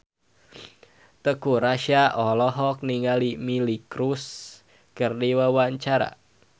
Teuku Rassya olohok ningali Miley Cyrus keur diwawancara